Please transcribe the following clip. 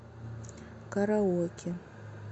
караоке